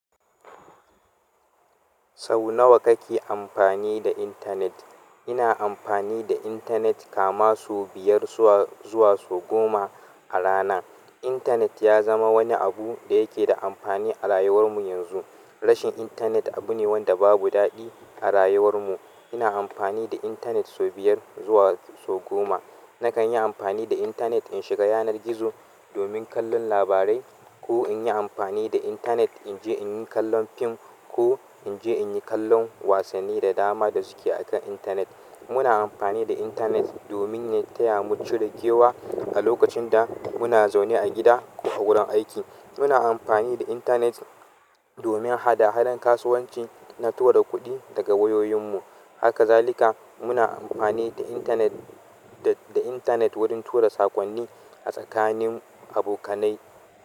Sau nawa kake amfani da intanet? Ina amfani da intanet kamar sau biyar zuwa sau goma a rana. Intanet ya zama wani abu da yake da amfani a rayuwar mu yanzu. Rashin intanet abu ne wanda babu daɗi a rayuwar mu. Ina amfani da intanet sau biyar zuwa sau goma. Nakan yi amfani da intanet in shiga yanar gizo domin kallon labarai ko in yi amfani da intanet in je in yi kallon fim ko in je in yi kallon wasanni da dama da suke akan intanet. Muna amfani da intanet domin ya taya mu cire kewa a lokacin da muna zaune a gida ko wurin aiki. Muna amfani da intanet domin hada-hadar kasuwanci na tura kuɗi daga wayoyin mu. Haka zalika muna amfani da intanet, da intanet wurin tura saƙonni a tsakanin abokanai.